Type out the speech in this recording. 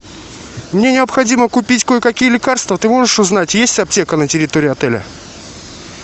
мне необходимо купить кое какие лекарства ты можешь узнать есть аптека на территории отеля